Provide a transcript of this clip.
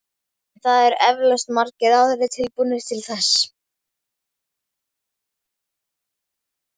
En það eru eflaust margir aðrir tilbúnir til þess.